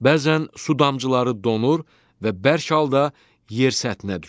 Bəzən su damcıları donur və bərk halda yer səthinə düşür.